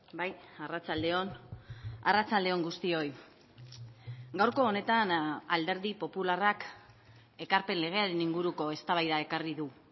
bai arratsalde on arratsalde on guztioi gaurko honetan alderdi popularrak ekarpen legearen inguruko eztabaida ekarri du